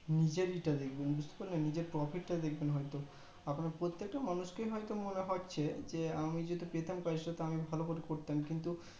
নিজেরই তা দেখবেন বুজতে পারলেন নিজের profit তা দেখেবন হয়তো এখন প্রত্যেকটা মানুষ কেই হয়তো মনে রাখা হচ্ছে যে আমি যদি পেতাম তো আমি ভালো করে করতাম কিন্তু